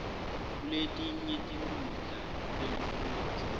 kuletinye tinkhundla tekufundza